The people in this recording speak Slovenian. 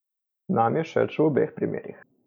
Nam je všeč v obeh primerih!